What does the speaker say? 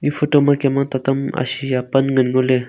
photo kemma taram ashiya pan ngan ngole.